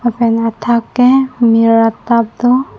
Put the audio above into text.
lapen athak ke mir atap do.